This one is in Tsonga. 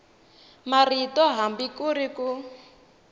marito hambi ku ri ku